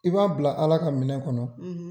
I b'a bila ALA ka minɛ kɔnɔ.